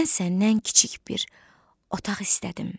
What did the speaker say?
Mən səndən kiçik bir otaq istədim.